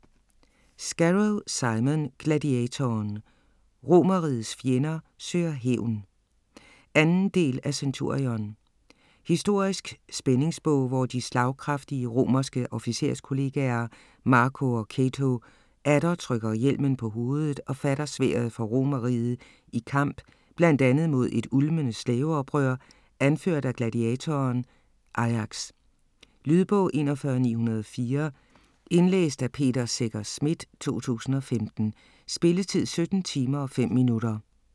Scarrow, Simon: Gladiatoren: Romerrigets fjender søger hævn 2. del af Centurion. Historisk spændingsbog, hvor de slagkraftige romerske officerskollegaer, Marco og Cato, atter trykker hjelmen på hovedet og fatter sværdet for Romerriget i kamp bl.a. mod et ulmende slaveoprør anført af gladiatoren Ajax. Lydbog 41904 Indlæst af Peter Secher Schmidt, 2015. Spilletid: 17 timer, 5 minutter.